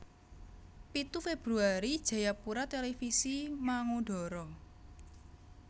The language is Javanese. Pitu Februari Jayapura Televisi mangudara